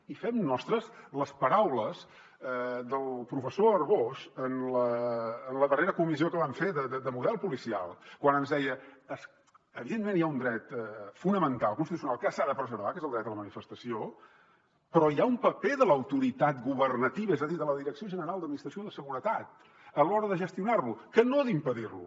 i fem nostres les paraules del professor arbós en la darrera comissió que vam fer de model policial quan ens deia evidentment hi ha un dret fonamental constitucional que s’ha de preservar que és el dret a la manifestació però hi ha un paper de l’autoritat governativa és a dir de la direcció general d’administració de seguretat a l’hora de gestionar lo que no d’impedir lo